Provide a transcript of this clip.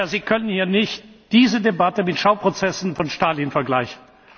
Sie können hier nicht diese Debatte mit den Schauprozessen von Stalin vergleichen!